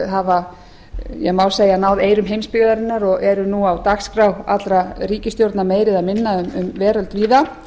hafa má segja náð eyrum heimsbyggðarinnar og eru nú á dagskrá allra ríkisstjórna meira eða minna um veröld víða